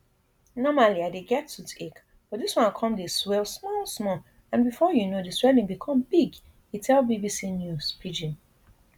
normally i dey get toothache but dis one come dey swell small small and bifor you know di swelling become big e tell bbc news pidgin